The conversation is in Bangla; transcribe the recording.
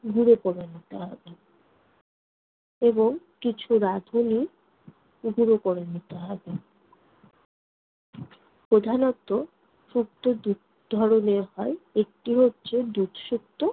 গুঁড়ো করে নিতে হবে এবং কিছু রাঁধুনি গুঁড়ো করে নিতে হবে। প্রধানত শুক্তো দুই ধরণের হয়, একটি হচ্ছে দুধ শুক্তো